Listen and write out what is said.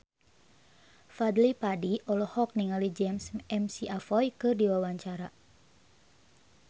Fadly Padi olohok ningali James McAvoy keur diwawancara